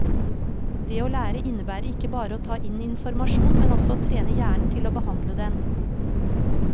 Det å lære innebærer ikke bare å ta inn informasjon, men også å trene hjernen til å behandle den.